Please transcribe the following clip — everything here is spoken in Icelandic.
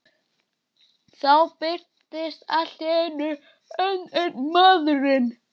Þá birtist allt í einu enn einn maðurinn.